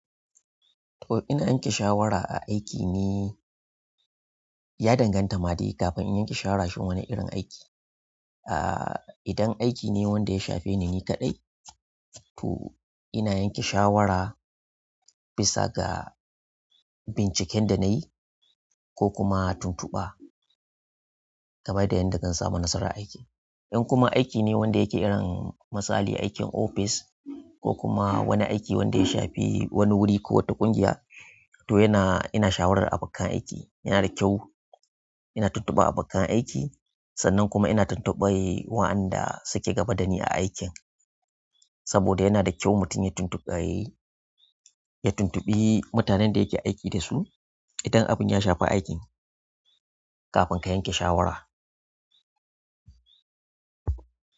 To ina yanke shawara a aiki ne, ya danganta ma dai kafin in yanke shawara shin wane irin aiki. Ah idan aiki ne wanda ya shafe ni kaɗai, to ina yanke shawara bisa ga binciken da nayi ko kuma tuntuɓa, game da yadda zan samu nasara a aiki. Idan kuma aikine wanda yake irin misali aikin office ko kuma aiki ne wanda ya shafi wani wuri ko wata ƙungiya to ina shawartar abokan aiki yana da kyau ina tuntubi a bakkan aiki sannan kuma ina tuntuban wayanda suke gaba da ni a aikin. Saboda yana da kyau mutum ya tuntubi, ya tuntubi mutanen da yake aiki da su idan abun ya shafi aikin, kafin ka yanke shawara.